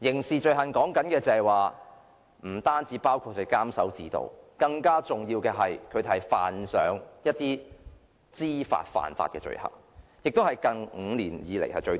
所說的刑事罪行不單包括監守自盜，更嚴重的是他們知法犯法，數字是近5年來最高。